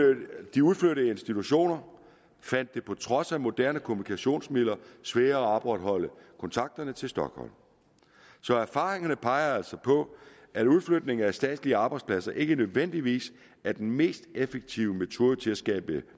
de udflyttede institutioner fandt det på trods af moderne kommunikationsmidler sværere at opretholde kontakterne til stockholm så erfaringerne peger altså på at udflytningen af statslige arbejdspladser ikke nødvendigvis er den mest effektive metode til at skabe